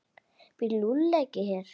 Býr Lúlli ekki hér?